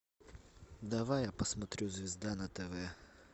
давай я посмотрю звезда на тв